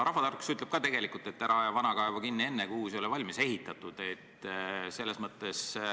Rahvatarkus ütleb ka, et ära aja vana kaevu kinni enne, kui uus ei ole valmis ehitatud.